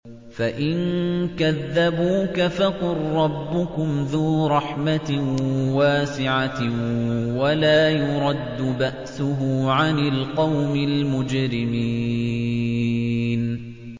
فَإِن كَذَّبُوكَ فَقُل رَّبُّكُمْ ذُو رَحْمَةٍ وَاسِعَةٍ وَلَا يُرَدُّ بَأْسُهُ عَنِ الْقَوْمِ الْمُجْرِمِينَ